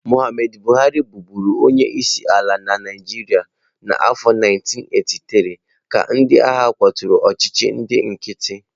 Muhammadu Buhari buru onye isi ala na Naijiria n'afọ 1983, ka ndị agha kwaturu ọchịchị ndị nkịtị.